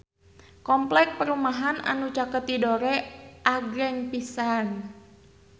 Kompleks perumahan anu caket Tidore agreng pisan